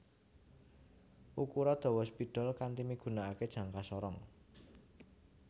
Ukura dawa spidol kanti migunakaké jangka sorong